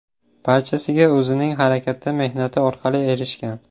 Barchasiga o‘zining harakati, mehnati orqali erishgan.